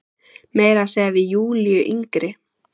Meira að segja við Júlíu yngri.